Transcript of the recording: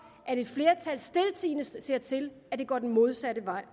at et flertal stiltiende ser til at det går den modsatte vej